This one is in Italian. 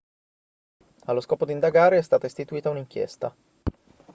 allo scopo di indagare è stata istituita un'inchiesta